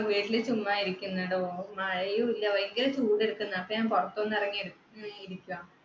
വീട്ടില് ചുമ്മാ ഇരിക്കുന്നെടോ. മഴയുല്ല. ഭയങ്കര ചൂട് എടുക്കുന്ന് അപ്പൊ ഞാൻ പുറത്തൊന്നിറങ്ങി ഇഇരിക്കുവാ